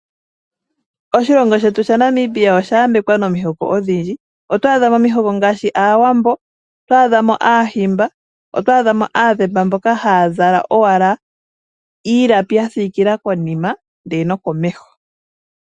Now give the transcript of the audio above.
Oshilongo shetu shaNamibia osha yambekwa nomihoko odhindji. Oto adha mo omihoko ngaashi Aawambo, oto adha mo Aahimba, oto adha mo Aadhemba mboka haya zala owala iilapi ya siikila konima ndele nokomeho.